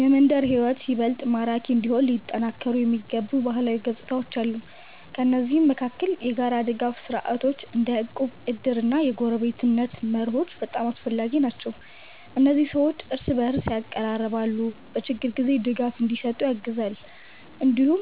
የመንደር ሕይወት ይበልጥ ማራኪ እንዲሆን ሊጠናከሩ የሚገቡ ባህላዊ ገጽታዎች አሉ። ከእነዚህ መካከል የጋራ ድጋፍ ስርዓቶች እንደ እቁብ፣ እድር እና የጎረቤትነት መርሆች በጣም አስፈላጊ ናቸው። እነዚህ ሰዎችን እርስ በእርስ ያቀራርባሉ እና በችግር ጊዜ ድጋፍ እንዲሰጡ ያግዛሉ። እንዲሁም